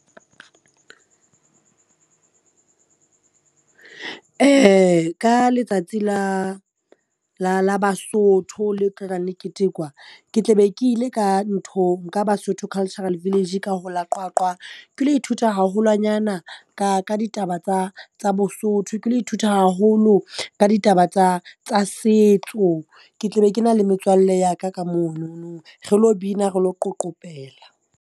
Ka letsatsi la la la Basotho le tlo tlang le ketekwa, ke tla be ke ile ka nthong ka Basotho Cultural Village ka ho la Qwaqwa ke lo ithuta haholwanyana ka ka ditaba tsa tsa Bosotho. Ke lo ithuta haholo ka ditaba tsa tsa setso. Ke tle be ke na le metswalle ya ka ka monono re lo bina, re lo qoqopela.